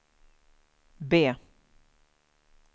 B